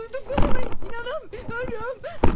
Duyduqlarıma inanamıyorum!